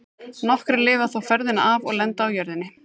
Nokkrir lifa þó ferðina af og lenda á jörðinni.